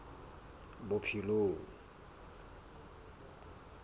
bophelong